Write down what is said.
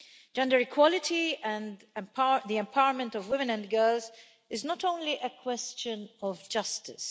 Gender equality and the empowerment of women and girls is not only a question of justice.